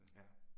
Ja